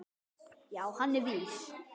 Já, hann er vís.